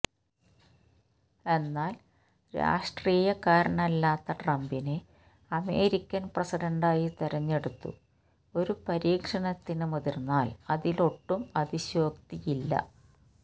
എന്നാല് രാഷ്ട്രീയക്കാരനല്ലാത്ത ട്രംപിനെ അമേരിക്കന് പ്രസിഡന്റായി തിരഞ്ഞെടുത്തു ഒരു പരീക്ഷണത്തിന് മുതിര്ന്നാല് അതിലൊട്ടും അതിശയോക്തിയില്ല